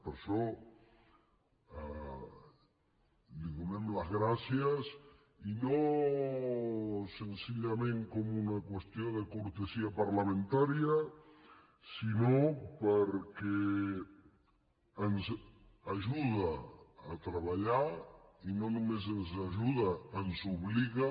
per això li donem les gràcies i no senzillament com una qüestió de cortesia parlamentària sinó perquè ens ajuda a treballar i no només ens ajuda ens hi obliga